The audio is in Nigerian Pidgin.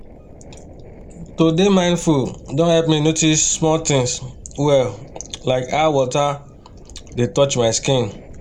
to dey mindful don help me notice small things well like how water dey touch my skin